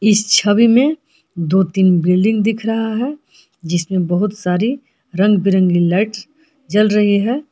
इस छवि में दो तीन बिल्डिंग दिख रहा है जिसमें बहुत सारे रंग बिरंगे लाइट्स जल रहे हैं।